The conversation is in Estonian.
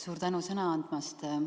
Suur tänu sõna andmast!